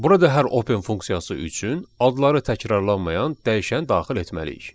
Burada hər open funksiyası üçün adları təkrarlanmayan dəyişən daxil etməliyik.